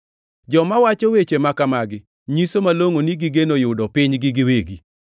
Joma wacho weche ma kamagi nyiso malongʼo ni gigeno yudo pinygi giwegi.